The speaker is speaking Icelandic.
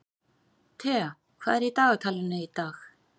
Thea, hvað er í dagatalinu í dag?